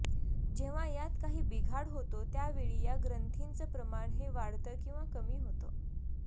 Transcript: जेव्हा यात काही बिघाड होतो त्यावेळी या ग्रंथींचं प्रमाण हे वाढतं किंवा कमी होतं